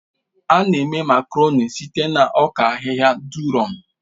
A na-eme Makaroni site na ọka ahịhịa durọ̀m